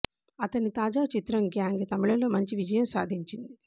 అతని తాజా చిత్రం గ్యాంగ్ తమిళంలో మంచి విజయం సాధించింది